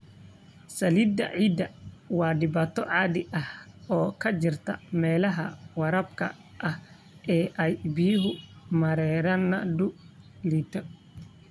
Saliidda ciidda waa dhibaato caadi ah oo ka jirta meelaha waraabka ah ee ay biyo-mareenadu liidato.